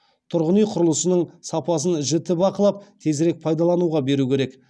тұрғын үй құрылысының сапасын жіті бақылап тезірек пайдалануға беру керек